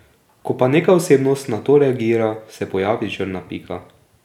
Ko pa neka osebnost na to reagira, se pojavi črna pika.